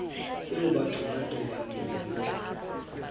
tseo batho ba tobaneng le